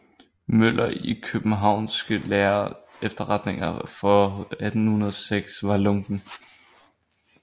Müller i Kiøbenhavnske Lærde Efterretninger for 1806 var lunken